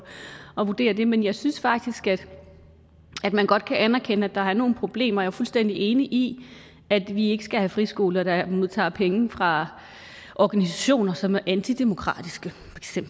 at vurdere det men jeg synes faktisk at man godt kan anerkende at der er nogle problemer jeg er fuldstændig enig i at vi ikke skal have friskoler der modtager penge fra organisationer som er antidemokratiske